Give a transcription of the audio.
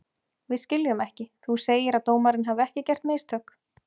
Við skiljum ekki, þú segir að dómarinn hafi ekki gert mistök?